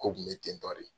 Ko kun bɛ ten tɔ de